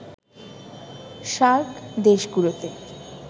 SAARC দেশগুলোতে